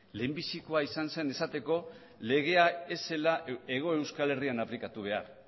lehenbizikoa izan zen esateko legea ez zela hego euskal herrian aplikatu behar